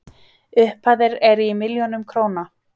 Upphæðir eru í milljónum króna.